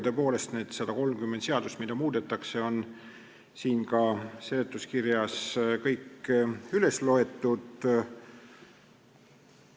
Tõepoolest, need 130 seadust, mida muudetakse, on ka seletuskirjas kõik üles loetud.